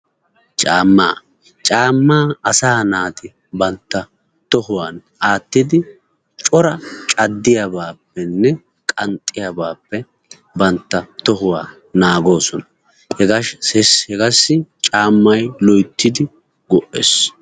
caamma asa naati bantta tohuwan aattidi cora caddiyaabappenne qanxxiyaabappe bantta tohuwaa naagoosona, hegassi caamay loytidi go''ees.